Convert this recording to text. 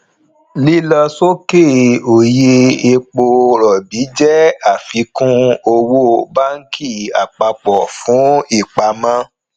lílọ sókè òye epo rọbì jẹ àfikún owó banki àpapọ fún ipamọ